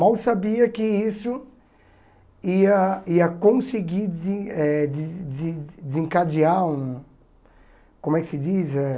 Mal sabia que isso ia ia conseguir desen eh des des desencadear um... Como é que se diz eh?